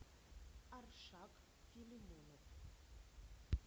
аршак филимонов